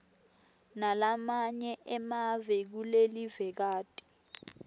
nalamanye emave kulelivekati